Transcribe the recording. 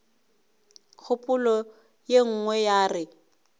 kgopolo ye nngwe ya re